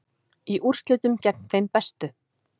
Í úrslitum gegn þeim bestu